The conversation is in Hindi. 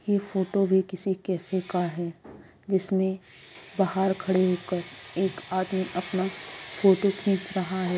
ये फोटो भी किसी कैफ़े का है जिसमें बाहर खड़े होकर एक आदमी अपना फोटो खींच रहा है।